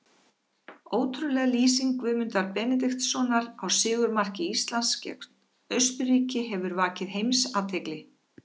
Ótrúleg lýsing Guðmundar Benediktssonar á sigurmarki Íslands gegn Austurríki hefur vakið heimsathygli.